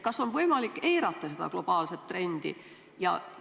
Kas on võimalik eirata seda globaalset trendi?